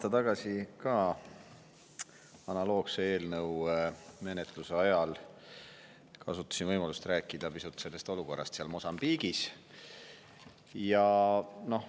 Aasta tagasi ma kasutasin ka analoogse eelnõu menetluse ajal võimalust rääkida pisut olukorrast Mosambiigis.